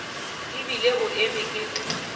e bile o eme ke